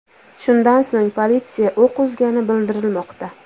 Shundan so‘ng politsiya o‘q uzgani bildirilmoqda.